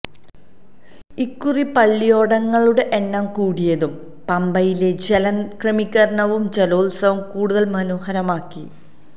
ഇക്കുറി പള്ളിയോടങ്ങളുടെ എണ്ണം കൂടിയതും പമ്പയിലെ ജലക്രമീകരണവും ജലോത്സവം കൂടുതല് മനോഹരമാക്കി